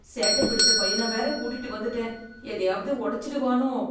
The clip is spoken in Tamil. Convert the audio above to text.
சேட்ட பிடிச்ச பையன வேற கூட்டிட்டு வந்துட்டேன் எதையாவது ஒடச்சிடுவானோ?